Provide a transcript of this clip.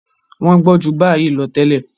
Wọ́n gbọ́n ju báyìí lọ tẹ́lẹ̀.